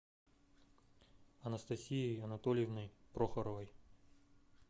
анастасией анатольевной прохоровой